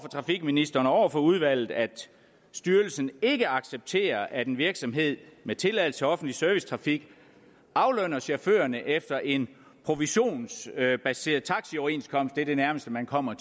trafikministeren og over for udvalget at styrelsen ikke accepterer at en virksomhed med tilladelse til offentlig servicetrafik aflønner chaufførerne efter en provisionsbaseret taxioverenskomst hvilket er det nærmeste man kommer